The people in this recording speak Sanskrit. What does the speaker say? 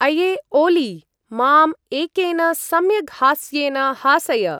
अये ओलि! माम् एकेन सम्यग् हास्येन हासय।